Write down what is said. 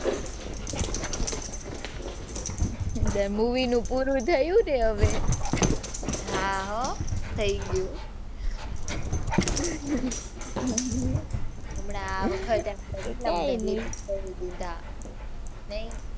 movie નું પૂરું થયું ને હવે. હાં હો થઈ ગયું. હમણાં આ વખતે કાઇ નહીં. નહીં.